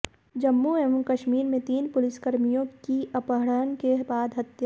जम्मू एवं कश्मीर में तीन पुलिसकर्मियों की अपहरण के बाद हत्या